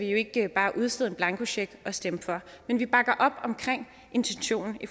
jo ikke bare kan udstede en blankocheck og stemme for men vi bakker op om intentionen i